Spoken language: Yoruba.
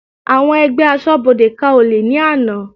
Àwọn ẹgbẹ́ asọ́bodè ká olè ní àná.